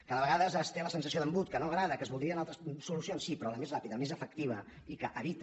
que de vegades es té la sensació d’embut que no agrada que es voldrien altres solucions sí però la més ràpida la més efectiva i que evita